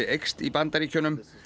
eykst í Bandaríkjunum